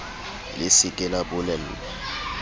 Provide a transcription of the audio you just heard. le se ke la bolellwa